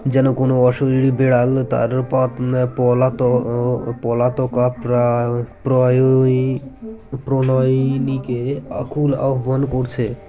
যেন কোনো অশরীরী বেড়াল তার পথ আ পলাত আ পলাতকা প্রায় প্রয়ই প্রনয়িনীকে আকুল আহ্বান করছে